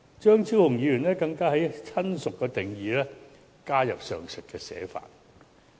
張超雄議員更在"親屬"的定義加入上述寫法。